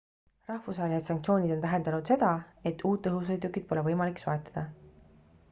rahvusvahelised sanktsioonid on tähendanud seda et uut õhusõidukit pole võimalik soetada